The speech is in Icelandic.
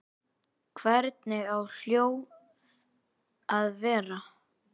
Hvernig á hjólið að vera?